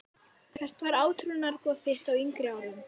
Hvert var átrúnaðargoð þitt á yngri árum?